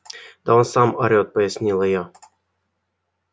да он сам орет пояснила я